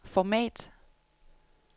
format